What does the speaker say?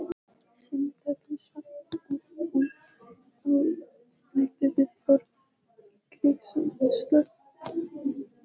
sunnudögum svaf hún út og mætti við borðið í greiðsluslopp.